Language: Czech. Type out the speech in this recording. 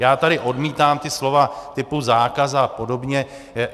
Já tady odmítám ta slova typu zákaz a podobně.